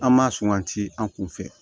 An ma suganti an kun fɛ